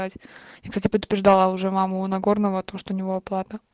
блять я кстати предупреждала уже маму нагорного то что у него оплата